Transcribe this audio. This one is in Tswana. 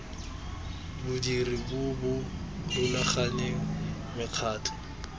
bodiri bo bo rulaganeng mekgatlho